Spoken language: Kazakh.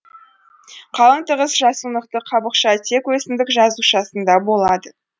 қалың тығыз жасунықты қабықша тек өсімдік жасушасында болады